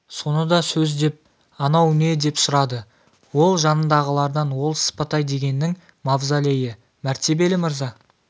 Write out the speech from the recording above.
соны да сөз деп анау не деп сұрады ол жанындағылардан ол сыпатай дегеннің мавзолейі мәртебелі мырза